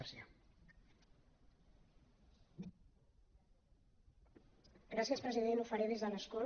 gràcies president ho faré des de l’escó